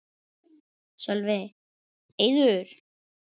Sölvi: Eiður?